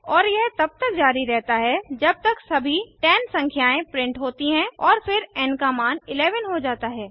और यह तब तक जारी रहता है जब तक सभी 10 संख्याएं प्रिंट होती है और फिरn का मान 11 हो जाता है